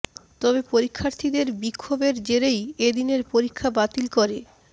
তবে পরীক্ষার্থীদের বিক্ষোভেরক জেরেই এ দিনের পরীক্ষা বাতিল করে